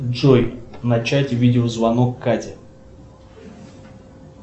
джой начать видеозвонок кате